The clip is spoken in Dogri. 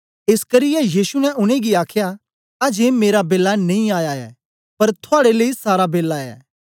एस करियै यीशु ने उनेंगी आखया अजें मेरा बेला नेई आया ऐ पर थुआड़े लेई सारा बेला ऐ